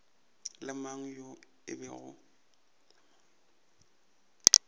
le mang yo e bego